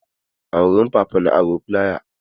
A wurin Papa na aro flaya.